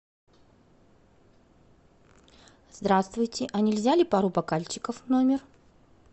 здравствуйте а нельзя ли пару бокальчиков в номер